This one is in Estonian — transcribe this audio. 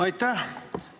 Aitäh!